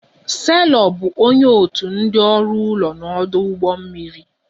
Selọ bụ onye otu ndị ọrụ ụlọ n'ọdụ ụgbọ mmiri